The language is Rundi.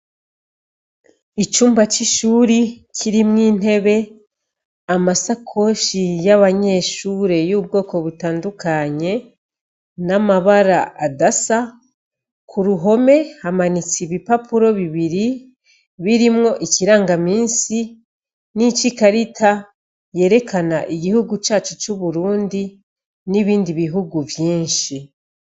Icumba c’ishure kirimwo intebe, amasakoshi y’abanyeshure yubwoko butandukanye n’amabara adasa, ku ruhome hamanitse ibipapuro bibiri birimwo ikirangamisi n’ici karita yerekana igihugu cacu nibindi bihugu vyinshi.